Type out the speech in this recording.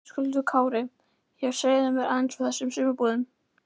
Höskuldur Kári: Já, segðu mér aðeins frá þessum sumarbúðum?